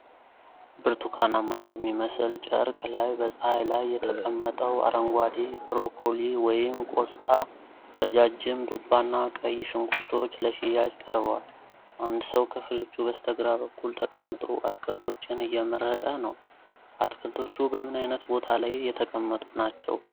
ብርቱካናማ በሚመስል ጨርቅ ላይ በፀሐይ ላይ የተቀመጠው አረንጓዴ ብሮኮሊ (ቆስጣ)፣ ረጃጅም ዱባና ቀይ ሽንኩርቶች ለሽያጭ ቀርበዋል። አንድ ሰው ከፍሬዎቹ በስተግራ በኩል ተቀምጦ አትክልቶችን እየመረጠ ነው፤ አትክልቶቹ በምን ዓይነት ቦታ ላይ የተቀመጡ ናቸው?